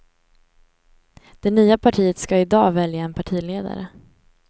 Det nya partiet ska i dag välja en partiledare.